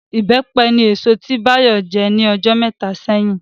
Ìbẹ́pẹ ni èso tí Bayo jẹ ní ọjọ́ mẹ́ta sẹ́yìn